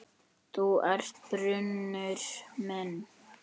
Þú ert brunnur minn.